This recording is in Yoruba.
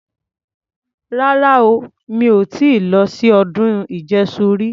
Rara o. Mi ò ti lọ sí ọdún ìjẹṣu rí.